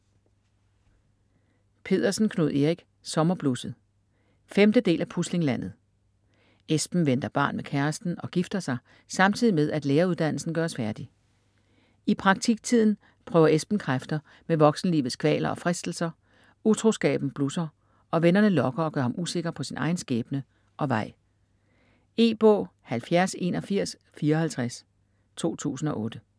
Pedersen, Knud Erik: Sommerblusset 5. del af Puslinglandet. Esben venter barn med kæresten og gifter sig, samtidig med at læreruddannelsen gøres færdig. I praktiktiden prøver Esben kræfter med voksenlivets kvaler og fristelser, utroskaben blusser og vennerne lokker og gør ham usikker på sin egen skæbne og vej. E-bog 708154 2008.